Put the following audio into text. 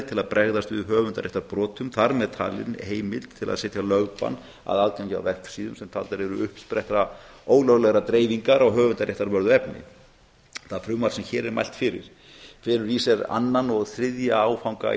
til að bregðast við höfundaréttarbrotum þar með talin heimild til að setja lögbann á aðgengi að vefsíðum sem taldar eru uppspretta ólöglegrar dreifingar á höfundaréttarvörðu efni það frumvarp sem hér er mælt fyrir felur í sér annan og þriðja áfanga